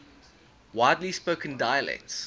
widely spoken dialects